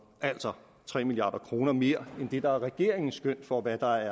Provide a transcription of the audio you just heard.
altså tre milliard kroner mere end det der er regeringens skøn for hvad der